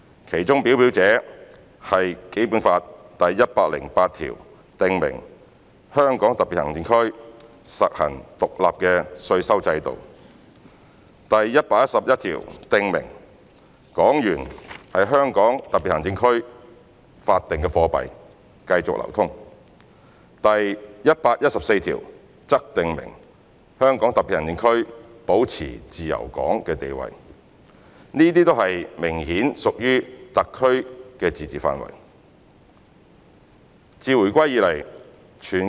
其中表表者是《基本法》第一百零八條訂明"香港特別行政區實行獨立的稅收制度"，第一百一十一條訂明"港元為香港特別行政區法定貨幣，繼續流通"，第一百一十四條則訂明"香港特別行政區保持自由港地位"，這些則明顯屬於特區的自治範圍。